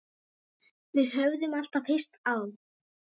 Við höfðum alltaf hist á